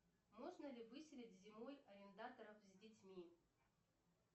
можно ли выселить зимой арендаторов с детьми